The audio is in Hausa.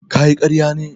Kayi ƙarya ne?